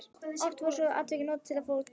Oft voru svona atvik notuð til að fara á túr.